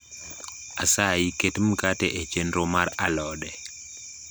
asayi ket mkate e chenro mar alode